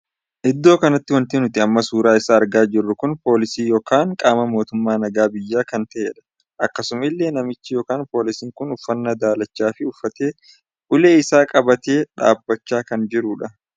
Iddoo kanatti wanti nuti amma suuraa isaa argaa jiru kun poolisiin ykn qaama mootummaa nagaa biyyaa kan tahedha. akkasuma illee namichi ykn poolisiin kun uffannaa dalachaa uffatee ulee isaa qabatee dhaabbachaa kan jirudha.